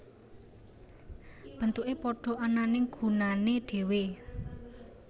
Bentuke padha ananging gunane dhewe